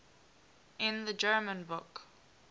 in the german book